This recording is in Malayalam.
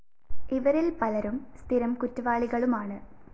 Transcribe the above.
ഇവരില്‍ പലരും സ്ഥിരം കുറ്റവാളികളുമാണ്